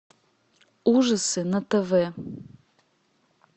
ужасы на тв